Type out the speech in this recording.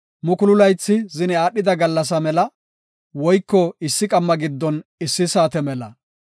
Mukulu laythi zine aadhida gallasa mela; woyko issi qamma giddon issi saate mela.